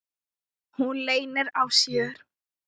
Hún leynir á sér.